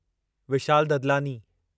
Vishal Dadlani